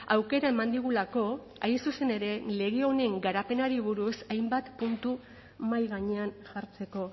aukera eman digulako hain zuzen ere lege honen garapenari buruz hainbat kontu mahai gainean jartzeko